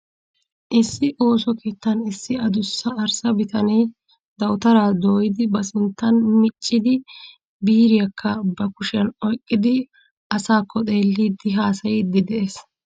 Issi ooso keettan issi adussa arssa bitanee dawutaraa diiyidi ba sinttan miccidi biiriyakka ba kushiyan oyqqidi asaakko xeellidi haasayiiddi de'ees.